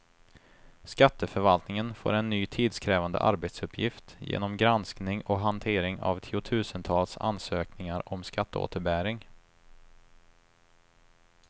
Skatteförvaltningen får en ny tidskrävande arbetsuppgift genom granskning och hantering av tiotusentals ansökningar om skatteåterbäring.